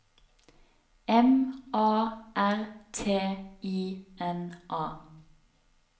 M A R T I N A